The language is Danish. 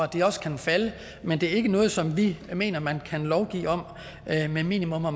de også kan falde men det er ikke noget som vi mener man kan lovgive om med minimums og